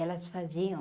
Elas faziam...